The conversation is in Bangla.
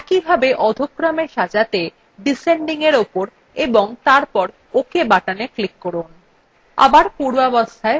একইভাবে অধ: ক্রমএ সাজাতে descendingএর উপর এবং তারপর ok button click করুন